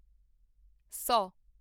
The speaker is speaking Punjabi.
ਸੌ